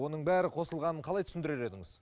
оның бәрі қосылғанын қалай түсіндірер едіңіз